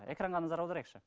экранға назар аударайықшы